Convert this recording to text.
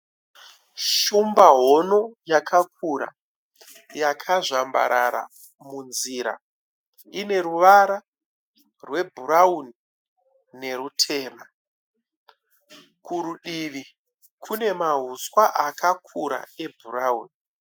Shumba hono yakakura yakazvambarara munzira. Ine ruvara rwebhurauni nerutema. Kurudivi kune mahuswa akakura ebhurauni.